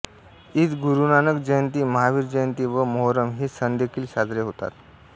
ईद गुरुनानक जयंती महावीर जयंती व मोहर्रम हे सणदेखील साजरे होतात